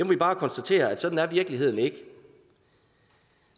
vi bare konstatere at sådan er virkeligheden ikke